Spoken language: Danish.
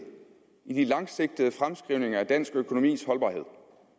i den langsigtede fremskrivning af dansk økonomis holdbarhed